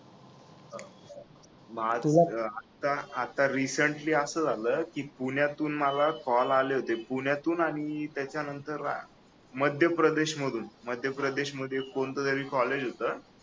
आता आता रिसेन्टली असं झालं की पुण्यातून मला कॉल आले होते पुण्यातून आणि त्याच्यानंतर मध्यप्रदेश मधून मध्यप्रदेश मध्ये कोणतंतरी कॉलेज होतं